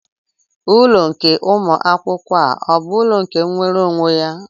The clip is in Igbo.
Ulọ Ụmụ akwụkwọ a ọ bụ ụlọ nke nwere onwe ya?